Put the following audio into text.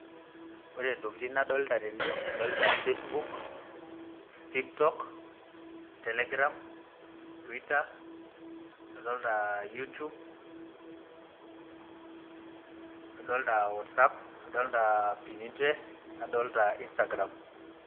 ore intokitin nadolita tene, adolita facebook, tiktok, telegram twitter. adoolta YouTube, adoolta whatsapp naddolta Instagram.